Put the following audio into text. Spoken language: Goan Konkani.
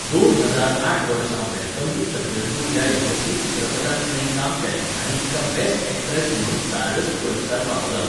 दोन हजार आठ वर्सा वॅलकम टू सज्जनपूर ह्या यशस्वी चित्रपटांत तिणें काम केलें आनी तिका बॅस्ट ऍक्ट्रॅस म्हणून स्टारडस्ट पुरस्कार फावो जालो.